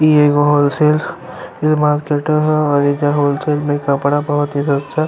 इ एगो wholesale के मार्केट ह और एईज्जा होल सेल में कपड़ा बोहोत ही सस्ता --